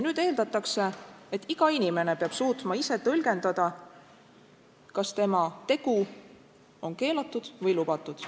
Nüüd eeldatakse, et iga inimene peab suutma ise tõlgendada, kas tema tegu on keelatud või lubatud.